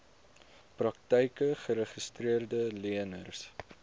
praktyke geregistreede leners